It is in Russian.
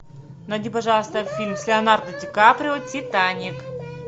найди пожалуйста фильм с леонардо ди каприо титаник